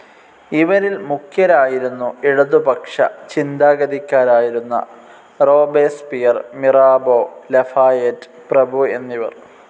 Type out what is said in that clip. ഇവരിൽ മുഖ്യരായിരുന്നു ഇടതുപക്ഷ ചിന്താഗതിക്കാരായിരുന്ന റോബേസ്പിയർ, മിറാബോ, ലഫായെറ്റ് പ്രഭുഎന്നിവർ.